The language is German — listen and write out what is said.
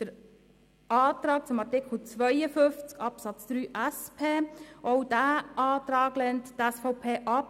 Den Antrag zu Artikel 52 Absatz 3 der SP lehnt die SVP ebenfalls ab.